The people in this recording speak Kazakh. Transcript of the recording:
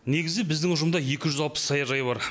негізі біздің ұжымда екі жүз алпыс саяжай бар